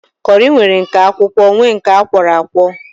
Kọri nwere nke akwụkwọ nwee nke akwọro akwọ